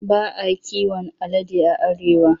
Ba a kiwon alade a Arewa.